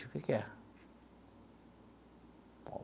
O que que é?